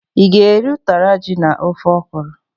I ga-eri ụtara ji na ofe okwuru?